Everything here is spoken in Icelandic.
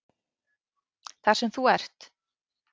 Þar sem þú ert?